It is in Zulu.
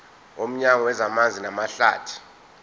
nomnyango wezamanzi namahlathi